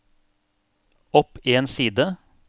opp en side